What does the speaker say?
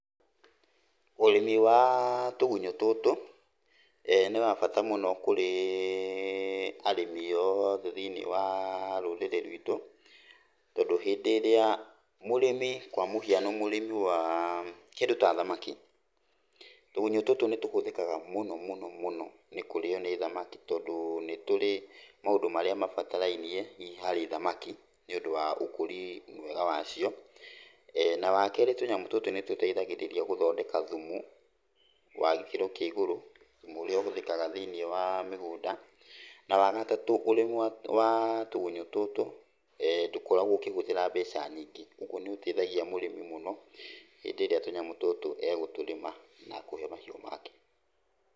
Ũrĩmi wa tũgunyũ tũtũ nĩ wa bata mũno kũrĩ arĩmi othe thĩiniĩ wa rũrĩrĩ rwitũ, tondũ hĩndĩ ĩrĩa mũrĩmi kwa mũhiano, mũrĩmi wa kĩndũ ta thamaki, tũgunyũ tũtũ nĩtũhũthĩkaga mũno mũno mũno nĩ kũrĩywo nĩ thamaki tondũ nĩtũrĩ maũndũ marĩa mabatarainie hihi harĩ thamaki nĩũndũ wa ũkũria mwega wacio. Na wakerĩ tũnyamũ tũtũ nĩtũteithagĩrĩria gũthondeka thumu wa gĩkĩro kĩa igũrũ, thumu ũrĩa ũhũthĩkaga thĩiniĩ wa mĩgũnda. Na wagatatũ ũrĩmi wa, wa tũgunyũ tũtũ ndũkoragwo ũkĩhũthĩra mbeca nyingĩ, kwogwo nĩ ũteithagia mũrĩmi mũno hĩndĩ ĩrĩa tũnyamũ tũtũ egũtũrĩma na kũhe mahiũ make.